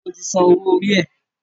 Sọ ti sanwó orí ẹ̀?